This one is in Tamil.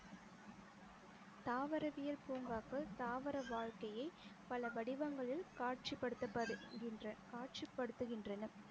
தாவரவியல் பூங்காக்கள் தாவர வாழ்க்கையை பல வடிவங்களில் காட்சிப்படுத்தபடுகின்ற~ காட்சிப்படுத்துகின்றன